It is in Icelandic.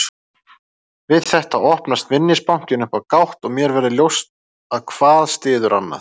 Við þetta opnast minnisbankinn upp á gátt og mér verður ljóst að hvað styður annað.